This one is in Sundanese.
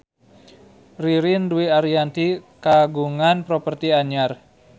Ririn Dwi Ariyanti kagungan properti anyar